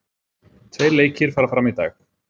Tveir leikir fara fram í dag